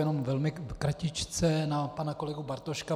Jenom velmi kratičce na pana kolegu Bartoška.